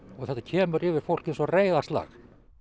og þetta kemur yfir fólk eins og reiðarslag